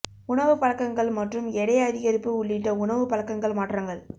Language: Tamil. உணவு பழக்கங்கள் மற்றும் எடை அதிகரிப்பு உள்ளிட்ட உணவு பழக்கங்கள் மாற்றங்கள்